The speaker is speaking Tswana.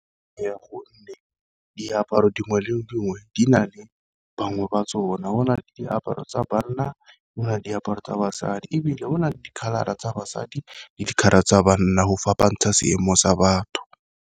Ka gonne diaparo dingwe le dingwe di na le bangwe ba tsona, go na le diaparo tsa banna go nna diaparo tsa basadi. Ebile go na le tsa basadi le tsa banna go fapantsha seemo sa batho.